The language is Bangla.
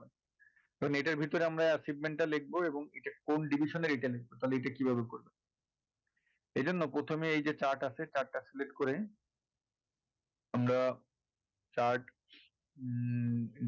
এটার ভিতরে আমরা achievement টা লিখবো এবং এটা কোন division . এই জন্য প্রথমে এই যে chart আছে chart টা select করে আমরা chart উম